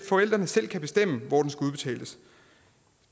forældrene selv kan bestemme hvor den skal udbetales